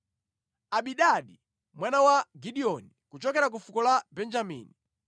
Abidani mwana wa Gideoni, kuchokera ku fuko la Benjamini,